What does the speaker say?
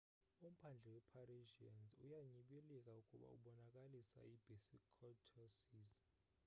umphandle we parisians uyanyibilika ukuba ubonakalisa i basic courtesies